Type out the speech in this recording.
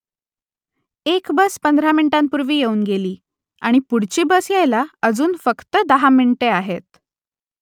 एक बस पंधरा मिनिटांपूर्वी येऊन गेली आणि पुढची बस यायला अजून फक्त दहा मिनिटे आहेत